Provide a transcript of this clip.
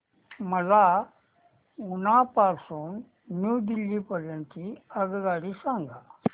मला उना पासून न्यू दिल्ली पर्यंत ची आगगाडी सांगा